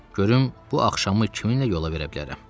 Görüm bu axşamı kiminlə yola verə bilərəm?